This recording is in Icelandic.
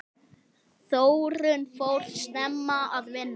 Þórunn fór snemma að vinna.